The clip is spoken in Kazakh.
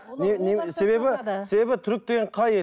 себебі себебі түрік деген қай ел